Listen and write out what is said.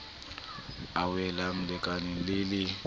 a welang lekaleng le le